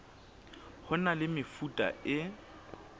ho na le mefuta e